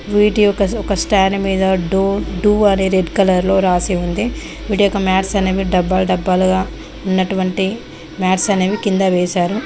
వీటి యొక్క ఒక స్టాండ్ మీద డు డ్డూ అని రెడ్ కలర్ లో రాసి ఉంది వీటి యొక్క మాట్స్ అనేవి డబ్బాలు డబ్బాలుగా ఉన్నటువంటి మాట్స్ అనేవి కింద వేసారు.